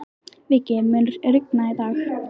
Viggi, mun rigna í dag?